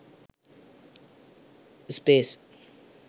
space